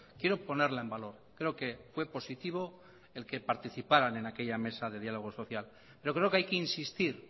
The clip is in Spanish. quiero ponerla en valor creo que fue positivo el que participaran en aquella mesa de diálogo social pero creo que hay que insistir